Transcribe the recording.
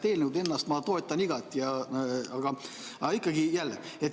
Eelnõu ennast ma toetan igati, aga ikkagi jälle.